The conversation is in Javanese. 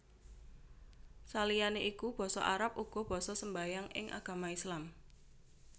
Saliyané iku basa Arab uga basa sembahyangan ing agama Islam